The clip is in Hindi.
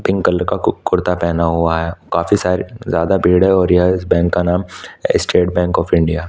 पिंक कलर का कुर्ता पहना हुआ है काफी सारे ज्यादा भीड़ है और इस बैंक का नाम स्टेट बैंक ऑफ़ इंडिया है ।